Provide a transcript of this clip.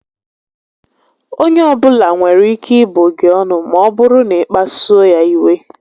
Onye ọbula nwere ike ịbụ gị ọnụ maọbụrụ na ị kpasuo ya iwe